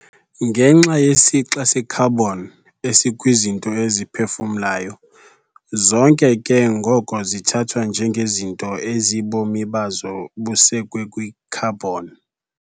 ngenxa yesixa se-carbon esikwizinto eziphefumlayo, zonke ke ngoko zithathwa njengezinto ezibomi bazo busekwe kwi-carbon.